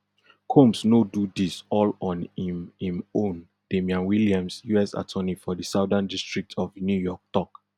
combs no do dis all on im im own damian williams us attorney for di southern district of new york tok